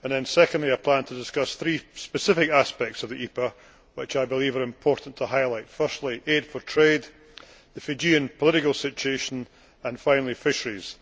Secondly, I plan to discuss three specific aspects of the EPA which I believe it is important to highlight namely, Aid for Trade, the Fijian political situation and fisheries.